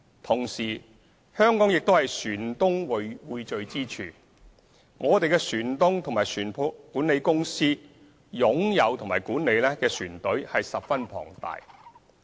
同時，香港是船東匯聚之處，我們的船東和船舶管理公司擁有及管理的船隊十分龐大。